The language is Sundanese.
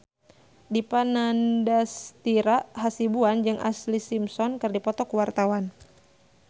Dipa Nandastyra Hasibuan jeung Ashlee Simpson keur dipoto ku wartawan